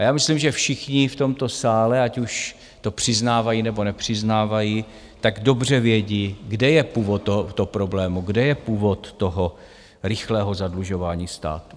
A já myslím, že všichni v tomto sále, ať už to přiznávají nebo nepřiznávají, tak dobře vědí, kde je původ tohoto problému, kde je původ toho rychlého zadlužování státu.